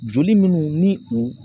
Joli minnu ni u